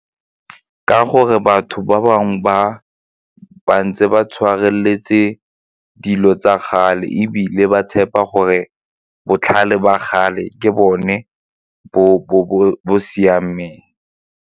Ka gore batho ba bangwe ba ntse ba tshwareletse dilo tsa kgale ebile ba tshepa gore botlhale ba kgale ke bone bo siameng.